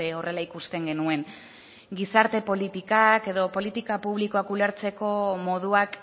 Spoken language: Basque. horrela ikusten genuen gizarte politikak edo politika publikoa ulertzeko moduak